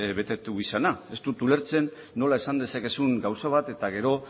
bete izana ez dut ulertzen nola esan dezakezun gauza bat eta gero